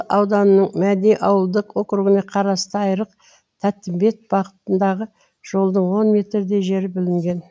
ауданының мәди ауылдық округіне қарасты айрық тәттімбет бағытындағы жолдың он метрдей жері бүлінген